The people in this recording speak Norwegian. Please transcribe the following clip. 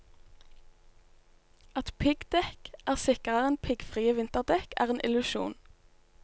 At piggdekk er sikrere enn piggfrie vinterdekk, er en illusjon.